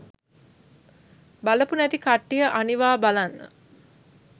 බලපු නැති කට්ටිය අනිවා බලන්න.